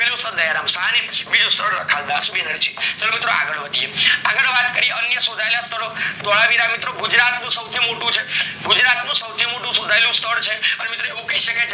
પેલું સ્થળ દયારામ સાહની, બીજું સ્થળ રખાલ્દાસ બેનર્જી ચાલો મિત્રો આગળ વધીએ અન્ય શોથાયેલા સ્થળો હવે આવે ગુજરાત સૌથી મોટું છે ગુજરાત નું સૌથું મોટું શોથાયેલું સ્થળ છે અને મિત્રો એવું કે છે કે